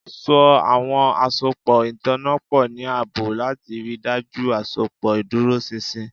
So awọn asopọ itanna pọ ni aabo lati rii daju asopọ iduroṣinṣin